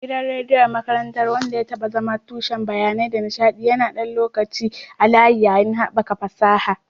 Gidan rediyon makarantar, wanda ya taɓa zama tushen bayanai da nishaɗi, yana ɗan lokaci a layi, yayin haɓaka fasaha